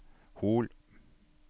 Hol